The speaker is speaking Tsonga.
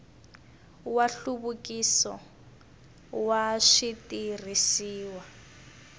wa nhluvukiso wa switirhisiwa swa